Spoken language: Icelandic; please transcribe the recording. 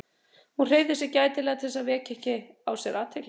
Hún hreyfði sig gætilega til að vekja ekki á sér athygli.